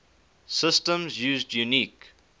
systems used unique